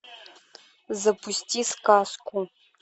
запусти сказку